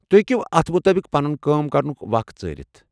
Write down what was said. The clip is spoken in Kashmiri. تُہۍ ہیٚکِو اتھ مُطٲبق پنُن کٲم کرنُک وخ ژٲرِتھ ۔